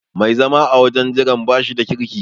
Mai zama a wajen jiran bashi da kirki.